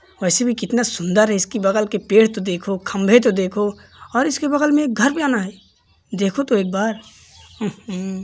वैसे भी कितना सुन्दर है। इसकी बगल के पेड़ तो देखो खंभे तो देखो और इसके बगल में एक घर बना है। देखो तो एक बार उहु --